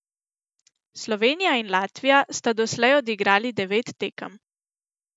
Slovenija in Latvija sta doslej odigrali devet tekem.